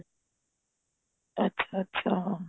ਅੱਛਾ ਅੱਛਾ